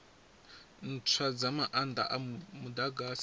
ntswa dza maanda a mudagasi